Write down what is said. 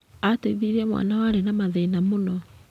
Ateithirie mwana warĩ na mathĩna mũno.